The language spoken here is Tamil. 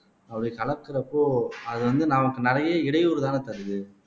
அப்படி கலக்குறப்போ அது வந்து நமக்கு நிறைய இடையூறுதானே தருது